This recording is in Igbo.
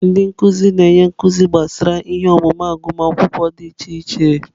Ndị nkuzi na-enye nkuzi gbasara ihe ọmụmụ agụmakwụkwọ dị iche iche.